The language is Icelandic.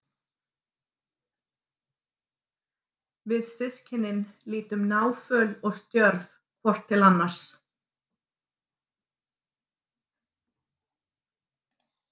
Við systkinin lítum náföl og stjörf hvort til annars.